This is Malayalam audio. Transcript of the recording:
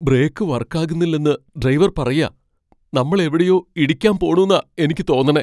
ബ്രേക്കു വർക്കാകുന്നില്ലെന്ന് ഡ്രൈവർ പറയാ. നമ്മൾ എവിടെയോ ഇടിക്കാൻ പോണുന്നാ എനിക്ക് തോന്നണേ.